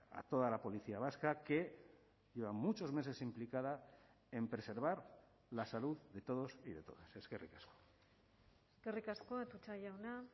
a toda la policía vasca que lleva muchos meses implicada en preservar la salud de todos y de todas eskerrik asko eskerrik asko atutxa jauna